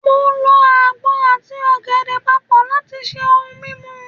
mo lọ agbọn ati ògèdè papọ lat ṣe ohun mímu